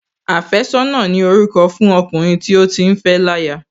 Àfẹ́sọ́nà ni orúkọ fún ọkùnrin tí ó ti fẹ́ láya